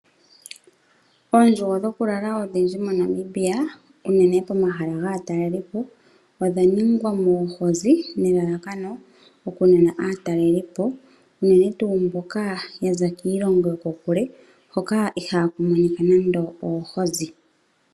Oondjugo dhokulala odhindji moNamibia unene pomahala gomatalelopo odha ningwa noohozi nelalakano okunana aatalelipo unene tuu mboka ya za kiilongo yokokule hoka ihaaku monika nando oohozi.